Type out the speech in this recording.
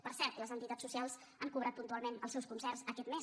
per cert les entitats socials han cobrat puntualment els seus concerts aquest mes